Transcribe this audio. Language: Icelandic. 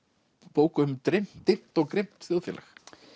bók um dimmt dimmt og grimmt þjóðfélag